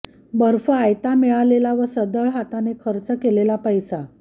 बर्फ आयता मिळालेला व सढळ हाताने खर्च केलेला पैसा